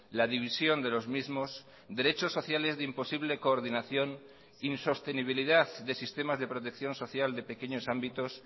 la división de los mismos derechos sociales de imposible coordinación insostenibilidad de sistemas de protección social de pequeños ámbitos